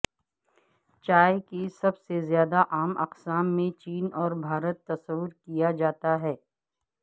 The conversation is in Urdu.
چائے کی سب سے زیادہ عام اقسام میں چین اور بھارت تصور کیا جاتا ہے